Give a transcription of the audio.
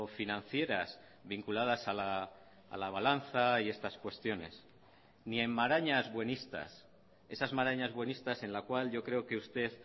financieras vinculadas a la balanza y estas cuestiones ni en marañas buenistas esas marañas buenistas en la cual yo creo que usted